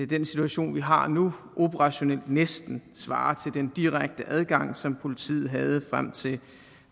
den situation vi har nu operationelt næsten svarer til den direkte adgang som politiet havde frem til den